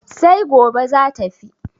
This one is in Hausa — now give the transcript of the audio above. sai gobe za tafi